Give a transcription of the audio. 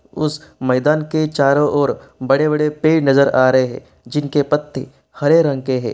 उस मैदान के चारों और बड़े-बड़े पेड़ नजर आ रहे हैं जिनके पत्ते हरे रंग के हैं।